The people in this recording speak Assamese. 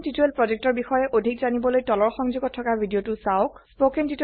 spoken টিউটৰিয়েল projectৰ বিষয়ে অধিক জানিবলৈ তলৰ সংযোগত থকা ভিডিঅ চাওক